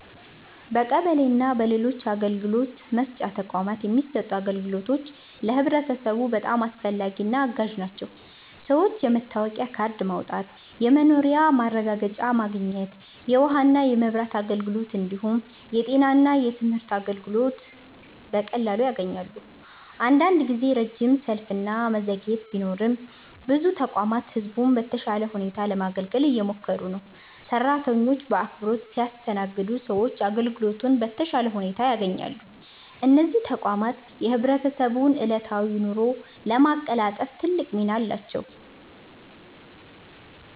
በቀበሌ እና በሌሎች አገልግሎት መስጫ ተቋማት የሚሰጡት አገልግሎቶች ለህብረተሰቡ በጣም አስፈላጊና አጋዥ ናቸው። ሰዎች የመታወቂያ ካርድ ማውጣት፣ የመኖሪያ ማረጋገጫ ማግኘት፣ የውሃና የመብራት አገልግሎት እንዲሁም የጤና እና የትምህርት አገልግሎቶችን በቀላሉ ያገኛሉ። አንዳንድ ጊዜ ረጅም ሰልፍ እና መዘግየት ቢኖርም ብዙ ተቋማት ህዝቡን በተሻለ ሁኔታ ለማገልገል እየሞከሩ ነው። ሰራተኞቹ በአክብሮት ሲያስተናግዱ ሰዎች አገልግሎቱን በተሻለ ሁኔታ ያገኛሉ። እነዚህ ተቋማት የህብረተሰቡን ዕለታዊ ኑሮ ለማቀላጠፍ ትልቅ ሚና አላቸው።